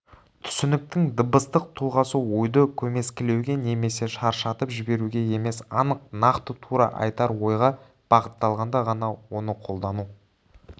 түсініктің дыбыстық тұлғасы ойды көмескілеуге немесе шашыратып жіберуге емес анық нақты тура айтар ойға бағытталғанда ғана оны қолдану